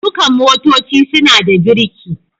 Dukan motoci suna da biriki.